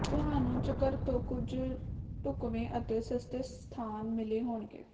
ਤੁਹਾਨੂੰ ਚਕੱਰ ਤੋਂ ਕੁਝ ਢੁੱਕਵੇਂ ਅਤੇ ਸਸਤੇ ਸਥਾਨ ਮਿਲੇ ਹੋਣਗੇ